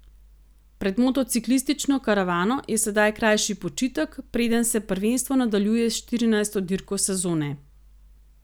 Pred motociklistično karavano je sedaj krajši počitek preden se prvenstvo nadaljuje s štirinajsto dirko sezone.